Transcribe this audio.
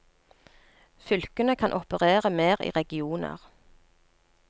Fylkene kan operere mer i regioner.